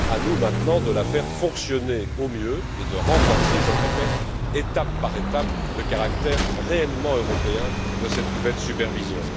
À nous, maintenant, de la faire fonctionner au mieux et de renforcer, je le répète, étape par étape, le caractère réellement européen de cette nouvelle supervision.